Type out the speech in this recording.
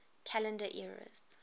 calendar eras